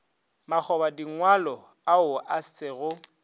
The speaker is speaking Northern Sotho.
makgobadingwalo ao a se go